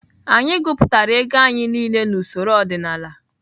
Anyị gụpụtara ego anyị niile na usoro ọdịnala.